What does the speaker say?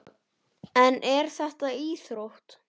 En er þetta íþrótt?